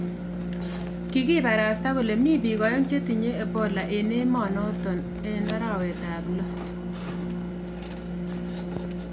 Kikibarasta kole mi bik aeng chetinye ebola eng emet notok eng arawet ap lo